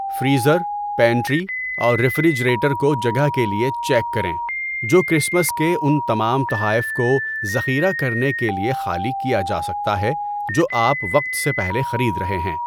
Freezer, pantry اور refrigerator کو جگہ کے لیے چیک کریں، جو کرسمس کے ان تمام تحائف کو ذخیرہ کرنے کے لیے خالی کیا جا سکتا ہے جو آپ وقت سے پہلے خرید رہے ہیں۔